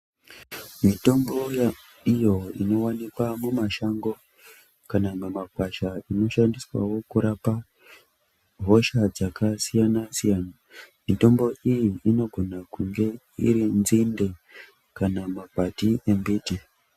Mitombo iyo inowanikwa mumashango kana mumakwasha inoshandiswawo kurapa hosha dzakasiyana siyana mitombo iyi inogona kunge dzinde kana makwati embiti